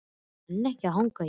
Ég nenni ekki að hanga hér.